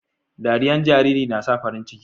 dariyan jariri na sa farin ciki